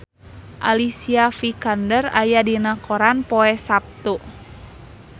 Alicia Vikander aya dina koran poe Saptu